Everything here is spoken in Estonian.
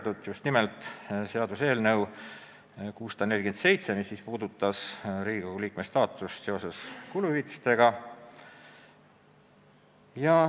Ma pean silmas ka seaduseelnõu 647, mis puudutab Riigikogu liikmete kuluhüvitisi.